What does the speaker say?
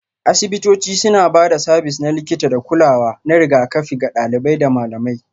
Asibitoci suna ba da sabis na likita da kulawa na rigakafi ga ɗalibai da malamai